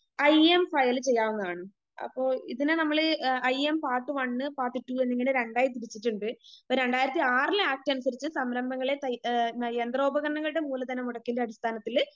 I M file ചെയ്യാവുന്നതാണ്.അപ്പൊ ഇതിന് നമ്മള് I M part one, part two എന്നിങ്ങനെ രണ്ടായി തിരിച്ചിട്ടുണ്ട്.അപ്പൊ രണ്ടായിരത്തി ആറിലെ ആക്ട് അനുസരിച്ച് സംരംഭങ്ങളെ തൈ ഏ യന്ത്രോപകരണങ്ങളുടെ മൂലധനമുടക്കിൻ്റെ അടിസ്ഥാനത്തില്